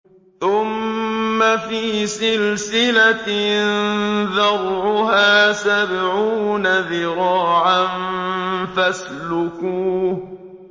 ثُمَّ فِي سِلْسِلَةٍ ذَرْعُهَا سَبْعُونَ ذِرَاعًا فَاسْلُكُوهُ